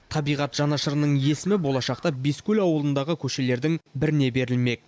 табиғат жанашырының есімі болашақта бескөл ауылындағы көшелердің біріне берілмек